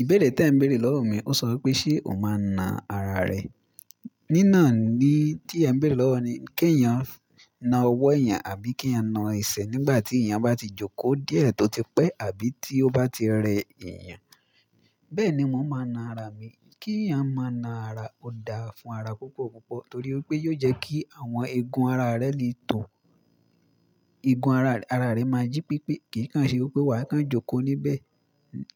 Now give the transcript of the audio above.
Ìbéèrè tí ẹ ń béèrè lọ́wọ́ mi, ó sọ wípé ṣe ọ máa na ara rẹ. Ní nà án ni tí ẹ ń béèrè lọ́wọ́ ni, kí ènìyàn na ọwọ́ ènìyàn àbí kí ènìyàn na ẹsẹ̀ nígbà tí ènìyàn bá ti jókòó díẹ̀ tó ti pẹ́ àbí tí ó bá ti rẹ ènìyàn. Bẹ́ẹ̀ ni wọ́n máa na ara mi. Kí ènìyàn máa na ara, ó da fún ara púpọ̀ púpọ̀ torí pé yóò jẹ́ kí àwọn egun ara rẹ lè tó. Egun ara rẹ máa jí pípé, kì í kàn ṣe wípé wà á kàn jókòó níbẹ̀